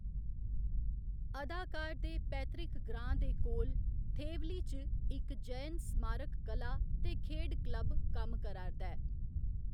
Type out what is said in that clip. अदाकार दे पैतृक ग्रांऽ दे कोल थेवली च इक जयन स्मारक कला ते खेढ क्लब कम्म करा'रदा ऐ।